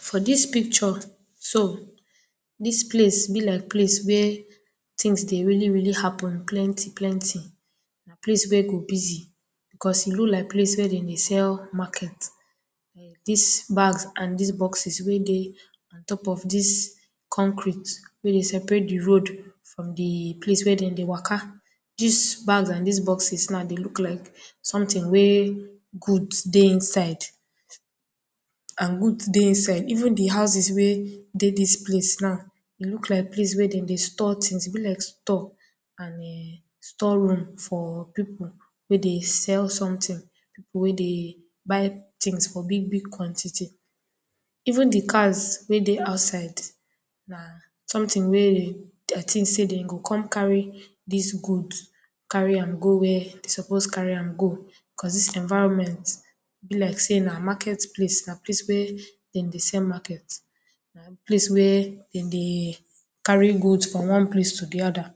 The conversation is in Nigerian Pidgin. For this picture so, this place be like place wey tins dey really really happen plenty plenty, place wey go busy, cos e look like place wey dey sell market, this bag and boxes wey dey on top of this concrete wey separate di road from di place wey dem dey waka, dis bag and dis boxes dry look like something wey good dey inside and good dey inside even di houses wey dey now dem look like place wey dem dey store tins e bi like store and store room for people wey dey sell tins for people wey dey buy tins for big big quantity, even di cars wey dry outside, na something wey día tins say dem go con carry dis guds carry am go wia e suppose carry am go cos this environment e bi like say na market placet, bí like place wey dem dey sell market, place where dem dey carry guds from one place di other.